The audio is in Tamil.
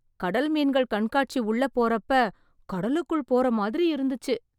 கடல் மீன்கள் கண்காட்சி உள்ள போறப்ப கடலுக்குள் போறமாதிரி இருந்துச்சு